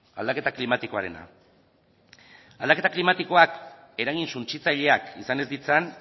aldaketa klimatikoarena aldaketa klimatikoak eragin suntsitzaileak izan ez ditzan